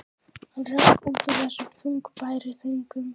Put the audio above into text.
Hann hrökk út úr þessum þungbæru þönkum.